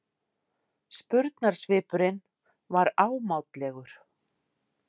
Spurnarsvipurinn var ámátlegur.